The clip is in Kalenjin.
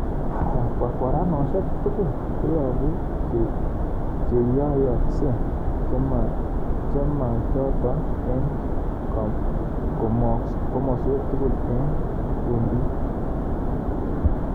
Kwarkwaranosiek tugul koyobu cheyoiyokse chemachoton eng' komoswek tugul eng' kundit